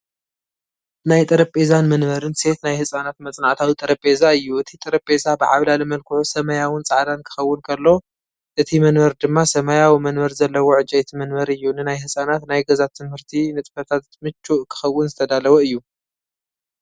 ናይ ጠረጴዛን መንበርን ሴት ናይ ህጻናት መጽናዕታዊ ጠረጴዛ እዩ። እቲ ጠረጴዛ ብዓብላሊ መልክዑ ሰማያውን ጻዕዳን ክኸውን ከሎ፡ እቲ መንበር ድማ ሰማያዊ መንበር ዘለዎ ዕንጨይቲ መንበር እዩ። ንናይ ህጻናት ናይ ገዛ ትምህርቲ ንጥፈታት ምቹእ ክኸውን ዝተዳለወ እዩ።